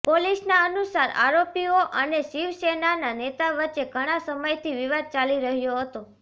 પોલીસના અનુસાર આરોપીઓ અને શિવસેનાના નેતા વચ્ચે ઘણા સમયથી વિવાદ ચાલી રહ્યો હતો